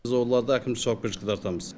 біз оларды әкімшілік жауапкершілікке тартамыз